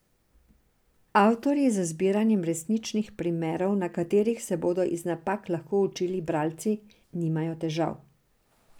Avtorji z zbiranjem resničnih primerov, na katerih se bodo iz napak lahko učili bralci, nimajo težav.